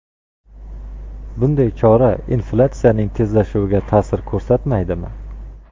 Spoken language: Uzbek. Bunday chora inflyatsiyaning tezlashuviga ta’sir ko‘rsatmaydimi?